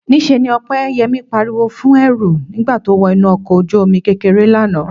Níṣe ni Ọpẹ́yẹmí pariwo fún Ẹ̀rù nígbà tó wọ inú ọkọ̀ ojú-omi kékeré lánàá